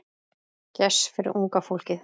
Gess fyrir unga fólkið.